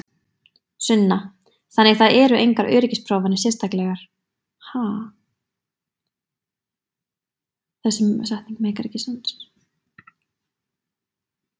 Sunna: Þannig það eru engar öryggisprófanir sérstaklegar?